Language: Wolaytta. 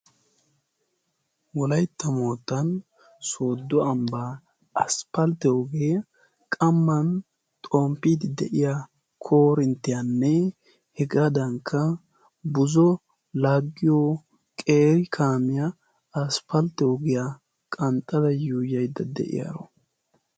wolaitta moottan sooddo ambbaa asppalitiyoogee qamman xomppiidi de7iya korinttiyaanne hegaadankka buzo lagiyo qeri kaamiyaa asppalite ogiyaa qanxxadayyo yaidda de7iyaaro.